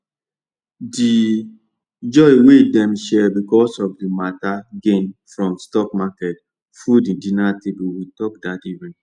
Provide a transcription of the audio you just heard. the joy wey dem share because of the better gain from stock market full the dinner table with talk that evening